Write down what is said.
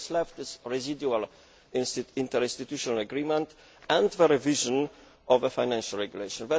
What is left is a residual interinstitutional agreement and the revision of the Financial Regulation.